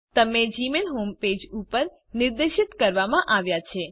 તમે Gmail home page ઉપર નિર્દેશિત કરવામાં આવ્યા છે